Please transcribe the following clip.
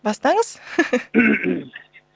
бастаңыз